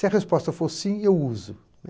Se a resposta for sim, eu uso, né.